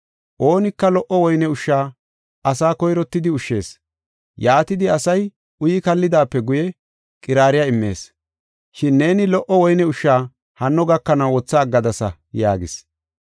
“Oonika lo77o woyne ushsha asaa koyrottidi ushshees. Yaatidi asay uyi kallidaape guye, qiraariya immees. Shin neeni lo77o woyne ushsha hanno gakanaw wotha aggadasa” yaagis.